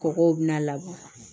Kɔgɔ bina laban